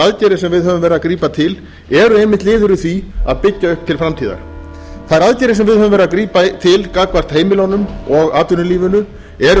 aðgerðir sem við höfum verið að grípa til eru einmitt liður í því að byggja upp til framtíðar þær aðgerðir sem við höfum verið að grípa til gagnvart heimilunum og atvinnulífinu er